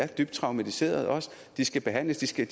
dybt traumatiseret og de skal behandles de skal